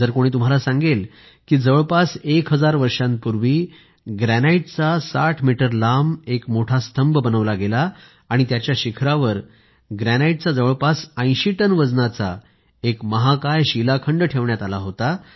जर कोणी तुम्हाला सांगेल की जवळपास एक हजार वर्षांपूर्वी ग्रॅनाईटचा 60 मीटर लांब एक मोठा स्तंभ बनवला गेला आणि त्याच्या शिखरावर ग्रॅनाईटचा जवळपास 80 टन वजनाचा एक महाकाय शिलाखंड ठेवण्यात आला होता